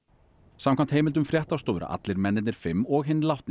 samkvæmt heimildum fréttastofu eru allir mennirnir fimm og hinn látni